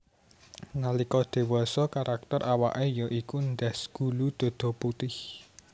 Nalika dewasa karakter awake ya iku ndas gulu dada putih